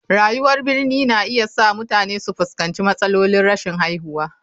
Rayuwar birni na iya sa mutane su fuskanci matsalolin rashin haihuwa.